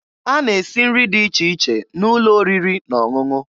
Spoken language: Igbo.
A na-esi nri dị iche iche n'ụlọ oriri na ọṅụṅụ.